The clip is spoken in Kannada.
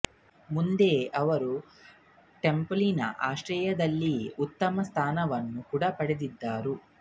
ಮುಂದೆ ಅವರು ಟೆಂಪಲ್ ನ ಅಶ್ರಯದಲ್ಲಿಯೇ ಉತ್ತಮ ಸ್ಥಾನವನ್ನು ಕೂಡ ಪಡಿದಿದ್ದರು